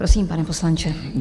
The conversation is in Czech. Prosím, pane poslanče.